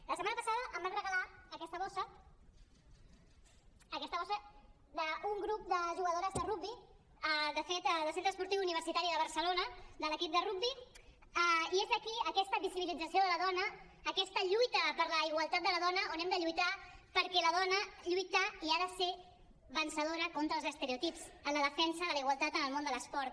la setmana passada em van regalar aquesta bossa aquesta bossa d’un grup de jugadores de rugbi de fet del centre esportiu universitari de barcelona de l’equip de rugbi i és aquí aquesta visibilització de la dona aquesta lluita per la igualtat de la dona on hem de lluitar perquè la dona lluita i ha de ser vencedora contra els estereotips en la defensa de la igualtat en el món de l’esport